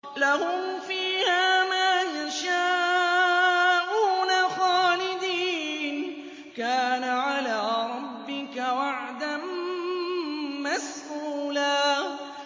لَّهُمْ فِيهَا مَا يَشَاءُونَ خَالِدِينَ ۚ كَانَ عَلَىٰ رَبِّكَ وَعْدًا مَّسْئُولًا